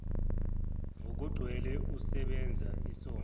ngokugcwele osebenza isonto